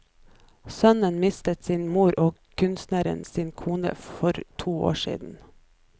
Sønnen mistet sin mor og kunstneren sin kone for to år siden.